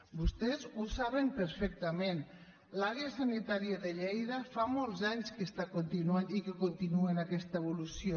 vostès ho saben perfectament l’àrea sanitària de lleida fa molts anys que està continuant i que continua en aquesta evolució